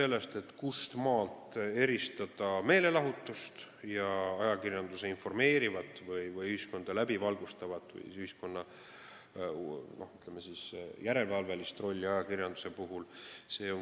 Oluline on küsimus, kuidas eristada meelelahutust ja ajakirjanduse informeerivat, ühiskonda läbivalgustavat või ühiskonna, ütleme siis, järelevalve rolli.